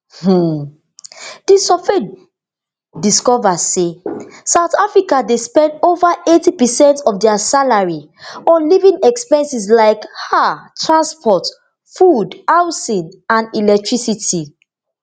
um di survey discova say south africans dey spend ova eighty percent of dia salary on living expenses like um transport food housing and electricity